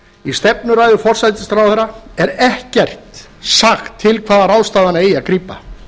í stefnuræðu forsætisráðherra er ekkert sagt til hvaða ráðstafana eigi að grípa